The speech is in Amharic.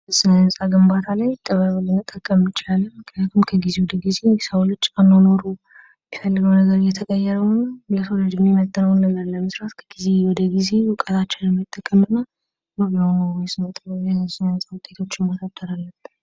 ስለ-ህንፃ ግንባታ ላይ ጥበብን መጠቀም እንችላለን። ምክንያቱም ከጊዜ ወደ ጊዜ የሰው ልጅ አኗኗሩ የሚፈልገው ነገር እየተቀየረ በመሆኑ የሰው ልጅ የሚመጥነውን ነገር ለመስራት ከጊዜ ወደ ጊዜ እውቀታችንን መጠቀም እና በአግባቡ የስነ-ጥበብና የስነ- ህንፃ ውጤቶችን መፍጠር አለብን።